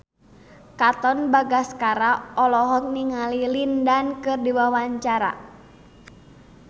Katon Bagaskara olohok ningali Lin Dan keur diwawancara